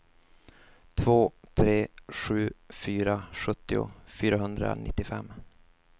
två tre sju fyra sjuttio fyrahundranittiofem